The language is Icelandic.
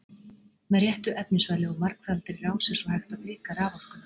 Með réttu efnisvali og margfaldri rás er svo hægt að auka raforkuna.